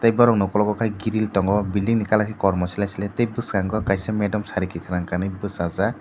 borok ni ungkulugo khe grill tongo buildingni colour khe kormo sle sle tei bwskango kaisa madam sari kwkhwrang kanui bwchajak.